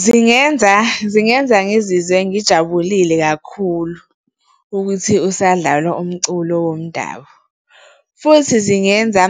Zingenza, zingenza ngizizwe ngijabulile kakhulu ukuthi usadlalwa umculo womdabu. Futhi zingenza,